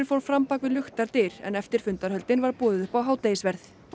fór fram bak við luktar dyr en eftir fundarhöldin var boðið upp á hádegisverð